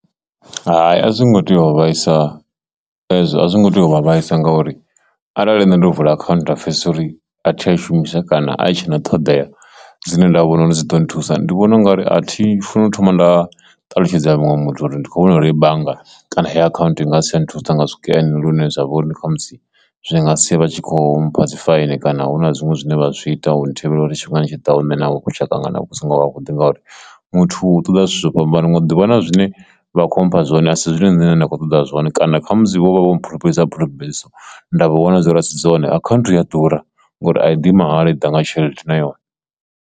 Hai, a zwo ngo tea u vhaisa ezwo a zwo ngo tea u vha vhaisa ngauri arali nṋe ndo vula account nda pfhesesa uri a thi tsha i shumisa kana a tshena ṱhoḓea dzine nda vhona uri dzi ḓo nthusa, ndi vhona ungari a thi funi u thoma nda ṱalutshedza muṅwe muthu uri ndi kho vhona hei bannga kana heyi account i nga si tsha nthusa nga zwikene lune zwa vhori ni khamusi zwi nga sia vha tshi kho mpha dzi faini, kana hu na zwiṅwe zwine vha zwi ita hune thivhela uri tshifhingani tshi ḓaho nṋe na ngo lushaka ngana vhu songo zwavhuḓi ngauri muthu ṱoḓa zwithu zwo fhambanaho, nga ḓuvha na zwine vha kho amba zwone asi zwine nṋe nda kho ṱoḓa zwone kana kha musi vho vha vha vho pfulufhedzisa nda vha wana dzori asi dzone akhanthu ya ḓura ngori a i ḓi mahala i ḓa nga tshelede na yone.